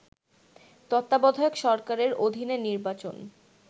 তত্ত্বাবধায়ক সরকারের অধীনে নির্বাচন